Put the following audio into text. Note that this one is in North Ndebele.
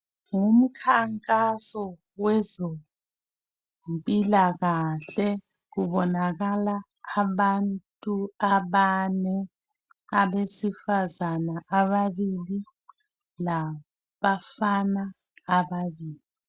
Ngumkhankaso wezompilakahle kubonakala abantu abane, abesifazana ababili labafana ababili.